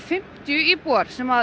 fimmtíu íbúar sem